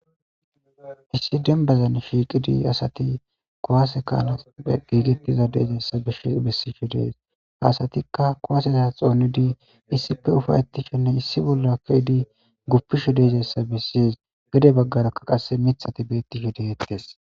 Issi dembbazan shiiqizi diya asakuwaase kaa7izi eqqizi de7iza asatha bessishe de7ees; ha asathikka kuwaase naatha xoonidi issipe ufaththishinne issi bolla guppushe de7izayssa bessees; gede baggara qassi miththathi beeththishe de7eeththes.